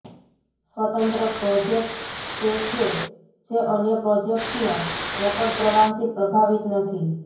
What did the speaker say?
સ્વતંત્ર પ્રોજેક્ટ્સ તે છે જે અન્ય પ્રોજેક્ટ્સના રોકડ પ્રવાહથી પ્રભાવિત નથી